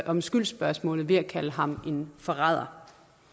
om skyldsspørgsmålet ved at kalde ham en forræder